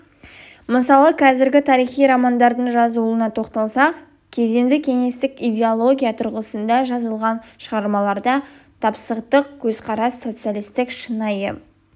мысалы қазіргі тарихи романдардың жазылуына тоқталсақ кезінде кеңестік идеология тұрғысында жазылған шығармаларда тапсытық көзқарас социалистік шынайы